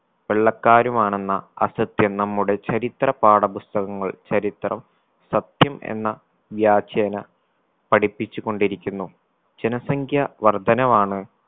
വെള്ളക്കാരുമാണെന്ന അസത്യം നമ്മുടെ ചരിത്ര പാഠപുസ്തകങ്ങൾ ചരിത്രം സത്യം എന്ന വ്യാജേന പഠിച്ചുകൊണ്ടിരിക്കുന്നു ജനസംഖ്യ വർധനവാണ്